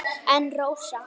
En Rósa?